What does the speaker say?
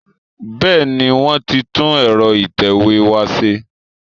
Bẹ́ẹ̀ni, wọ́n ti tún ẹ̀rọ ìtẹ̀wé wa ṣe